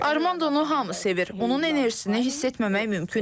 Armandonu hamı sevir, onun enerjisini hiss etməmək mümkün deyil.